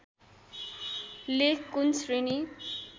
लेख कुन श्रेणी